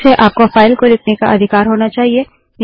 फिर से आपको फाइल को लिखने का अधिकार होना चाहिए